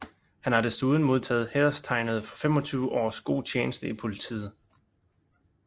Han har desuden modtaget hæderstegnet for 25 års god tjeneste i politiet